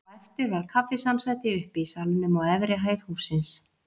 Á eftir var kaffisamsæti uppi í salnum á efri hæð hússins.